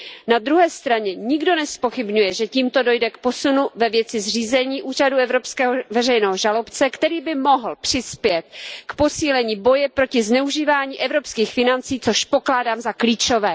Na druhé straně nikdo nezpochybňuje, že tímto dojde k posunu ve věci zřízení Úřadu evropského veřejného žalobce, který by mohl přispět k posílení boje proti zneužívání evropských financí, což pokládám za klíčové.